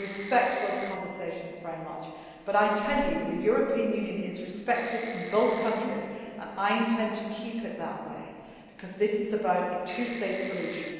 meetings. I respect those conversations very much, but I tell you the European Union is respected in both countries and I intend to keep it that way because that is about a two state